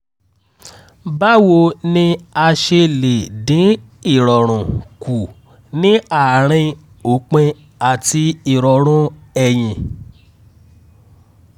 báwo ni a ṣe lè dín ìrọ̀rùn kù ní àárín òpin àti ìrọ̀rùn ẹyin?